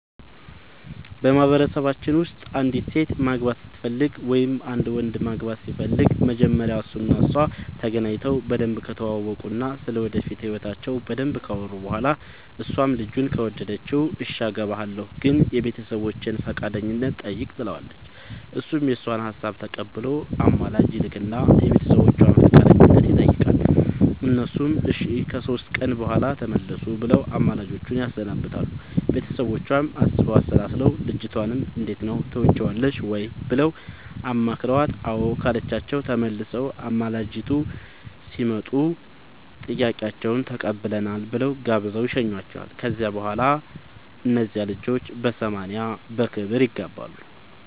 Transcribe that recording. በማህበረሰባችን ውስጥ አንዲት ሴት ማግባት ስትፈልግ ወይም አንድ ወንድ ማግባት ሲፈልግ መጀመሪያ እሱ እና እሷ ተገናኝተው በደንብ ከተዋወቁ እና ስለ ወደፊት ህይወታቸው በደንብ ካወሩ በኋላ እሷም ልጁን ከወደደችው እሽ አገባሀለሁ ግን የቤተሰቦቼን ፈቃደኝነት ጠይቅ ትለዋለች እሱም የእሷን ሀሳብ ተቀብሎ አማላጅ ይልክ እና የቤተሰቦቿን ፈቃደኝነት ይጠይቃል እነሱም እሺ ከሶስት ቀን በኋላ ተመለሱ ብለው አማላጆቹን ያሰናብታሉ ቤተሰቦቿም አስበው አሠላስለው ልጅቷንም እንዴት ነው ትወጅዋለሽ ወይ ብለው አማክረዋት አዎ ካለቻቸው ተመልሰው አማላጆቹ ሲመጡ ጥያቄያችሁን ተቀብለናል ብለው ጋብዘው ይሸኙዋቸዋል ከዚያ በኋላ እነዚያ ልጆች በሰማንያ በክብር ይጋባሉ።